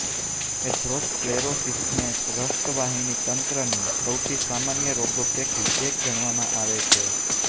એથરોસ્ક્લેરોસિસને રક્તવાહિની તંત્રની સૌથી સામાન્ય રોગો પૈકી એક ગણવામાં આવે છે